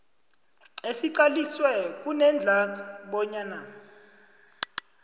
esiqaliswe kunedlac bonyana